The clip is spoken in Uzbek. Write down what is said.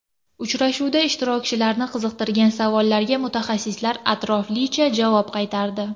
Uchrashuvda ishtirokchilarni qiziqtirgan savollarga mutaxassislar atroflicha javob qaytardi.